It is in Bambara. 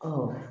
Ɔ